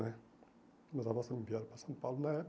Né Meus avós também vieram para São Paulo na